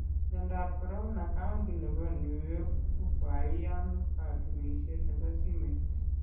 Myandap korona : kaunti nebo New York kokaiyan katunishet nebo simet